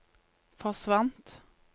forsvant